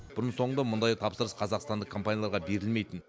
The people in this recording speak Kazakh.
бұрын соңды мұндай тапсырыс қазақстандық компанияларға берілмейтін